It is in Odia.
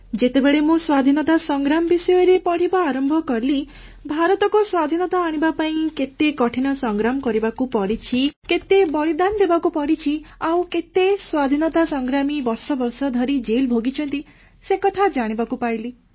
ଯେତେବେଳେ ମୁଁ ସ୍ୱାଧୀନତା ସଂଗ୍ରାମ ବିଷୟରେ ପଢ଼ିବା ଆରମ୍ଭ କଲି ଭାରତକୁ ସ୍ୱାଧୀନତା ଆଣିବା ପାଇଁ କେତେ କଠିନ ସଂଗ୍ରାମ କରିବାକୁ ପଡ଼ିଛି କେତେ ବଳିଦାନ ଦେବାକୁ ପଡ଼ିଛି ଆଉ କେତେ ସ୍ୱାଧୀନତା ସଂଗ୍ରାମୀ ବର୍ଷ ବର୍ଷ ଧରି ଜେଲ ଭୋଗିଛନ୍ତି ସେକଥା ଜାଣିବାକୁ ପାଇଲି